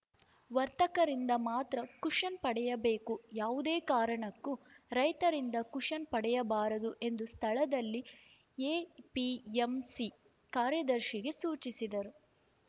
ವರ್ತಕರಿಂದ ಮಾತ್ರ ಕುಷನ್‌ ಪಡೆಯಬೇಕು ಯಾವುದೇ ಕಾರಣಕ್ಕೂ ರೈತರಿಂದ ಕುಷನ್‌ ಪಡೆಯಬಾರದು ಎಂದು ಸ್ಥಳದಲ್ಲಿದ್ದ ಎಪಿಎಂಸಿ ಕಾರ್ಯದರ್ಶಿಗೆ ಸೂಚಿಸಿದರು